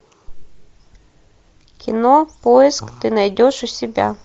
кино поиск ты найдешь у себя